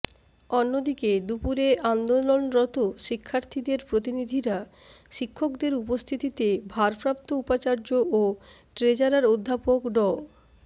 অন্যদিকে দুপুরে আন্দোলনরত শিক্ষার্থীদের প্রতিনিধিরা শিক্ষকদের উপস্থিতিতে ভারপ্রাপ্ত উপাচার্য ও ট্রেজারার অধ্যাপক ড